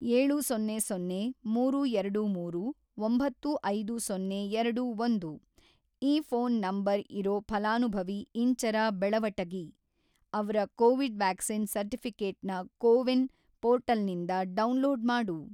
ಏಳು ಸೊನ್ನೆ ಸೊನ್ನೆ ಮೂರು ಎರಡು ಮೂರು ಒಂಬತ್ತು ಐದು ಸೊನ್ನೆ ಎರಡು ಒಂದು ಈ ಫೋನ್‌ ನಂಬರ್‌ ಇರೋ ಫಲಾನುಭವಿ ಇಂಚರ ಬೆಳವಟಗಿ ಅವ್ರ ಕೋವಿಡ್ ವ್ಯಾಕ್ಸಿನ್‍ ಸರ್ಟಿಫಿ಼ಕೇಟ್‌ನ ಕೋವಿನ್‌ ಪೋರ್ಟಲ್‌ನಿಂದ ಡೌನ್‌ಲೋಡ್‌ ಮಾಡು.